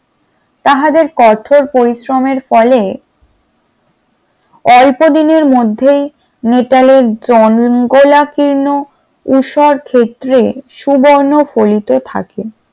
তাহাদের কঠোর পরিশ্রমের ফলে, অল্প দিনের মধ্যেই মিতালের জঙ্গললাকীর্ণ ঊষর ক্ষেত্রে সুবর্ণ ফলিতে থাকে ।